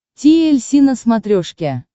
ти эль си на смотрешке